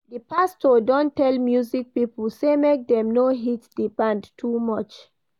Di pastor don tell music pipo sey make dem no hit di band too much.